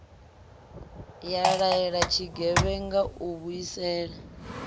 ya laela tshigevhenga u vhuisela